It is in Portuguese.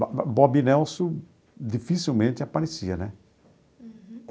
Bob Nelson dificilmente aparecia, né? Uhum.